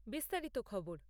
বিস্তারিত খবর